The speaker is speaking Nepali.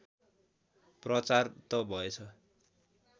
प्रचार त भएछ